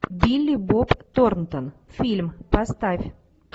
билли боб торнтон фильм поставь